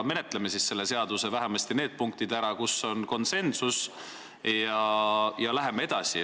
Menetleme vähemasti selle seaduse need punktid ära, kus meil on konsensus, ja läheme edasi.